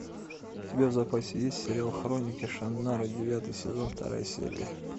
у тебя в запасе есть сериал хроники шаннары девятый сезон вторая серия